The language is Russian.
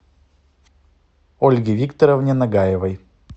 ольге викторовне нагаевой